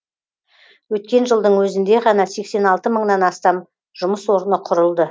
өткен жылдың өзінде ғана сексен алты мыңнан астам жұмыс орны құрылды